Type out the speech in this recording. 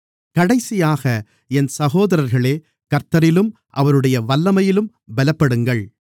கடைசியாக என் சகோதரர்களே கர்த்தரிலும் அவருடைய வல்லமையிலும் பலப்படுங்கள்